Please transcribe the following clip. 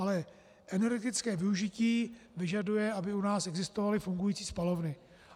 Ale energetické využití vyžaduje, aby u nás existovaly fungující spalovny.